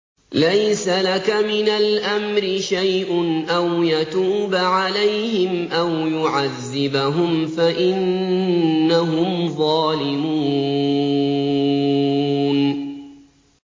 لَيْسَ لَكَ مِنَ الْأَمْرِ شَيْءٌ أَوْ يَتُوبَ عَلَيْهِمْ أَوْ يُعَذِّبَهُمْ فَإِنَّهُمْ ظَالِمُونَ